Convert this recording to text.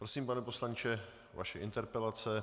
Prosím, pane poslanče, vaše interpelace.